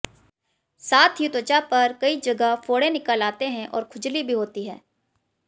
साथ ही त्वचा पर कई जगह फोड़े निकल आते हैं और खुजली भी होती है